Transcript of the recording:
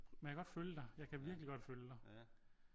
Men jeg kan godt følge dig jeg kan virkelig godt følge dig